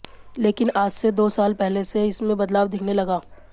लेकिन आज से दो साल पहले से इसमें बदलाव दिखने लगा